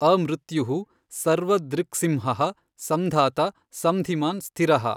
ಅಮೃತ್ಯುಃ ಸರ್ವದೃಕ್ಸಿಂಹಃ ಸಂಧಾತಾ ಸಂಧಿಮಾನ್ ಸ್ಥಿರಃ।